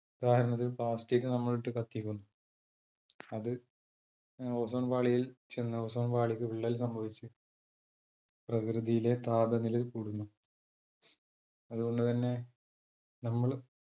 ഉദാഹരണത്തിന് plastic നമ്മളിട്ട് കത്തിക്കുന്നു. അത് ഏർ ozone പാളിയിൽ ചെന്ന് ozone പാളിക്ക് വിള്ളൽ സംഭവിച്ചു. പ്രകൃതിയിലെ താപനില കൂടുന്നു. അത്കൊണ്ട് തന്നെ നമ്മൾ